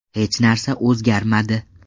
Hech narsa o‘zgarmadi.